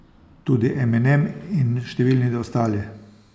Tudi Eminem in številni ostali.